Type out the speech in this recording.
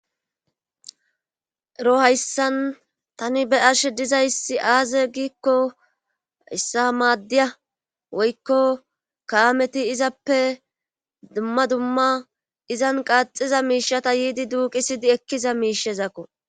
Ero hayssan tani be arshe dizaysi aaze giikko issa maaddiya woykko kaameti izappe dumma dumma izan qaaxiza miishata yiidi duuqisidi ekkiza miishezakko.